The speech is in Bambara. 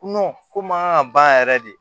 ko man kan ka ban yɛrɛ de